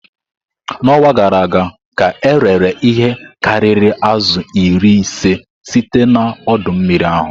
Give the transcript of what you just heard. N'ọnwa gara aga ka erere ihe karịrị azụ iri ise site na ọdọ mmiri ahụ.